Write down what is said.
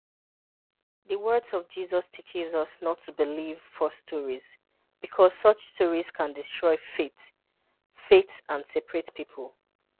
The words of Jesus teaches us not to believe false stories, because such stories can destroy faith faith and separate people.